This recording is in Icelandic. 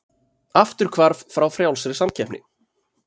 Afturhvarf frá frjálsri samkeppni